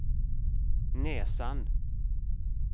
näsan